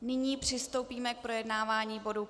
Nyní přistoupíme k projednávání bodu